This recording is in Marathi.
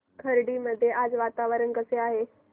खर्डी मध्ये आज वातावरण कसे आहे